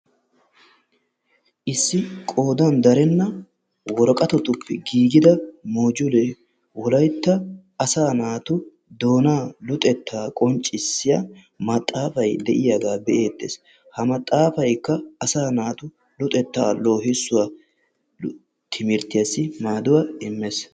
Issi qoodan darena woraqqatape gigida mojulee wolaytta asa naatu doonaa luxetta qonccissiya maxaafaay deiyaga be'eetes. Ha maxaafaykka asa naata luxetta lohissuwa timirttiyasi maaduwa immees.